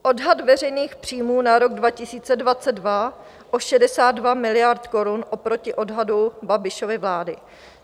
- odhad veřejných příjmů na rok 2022 o 62 miliard korun oproti odhadu Babišovy vlády.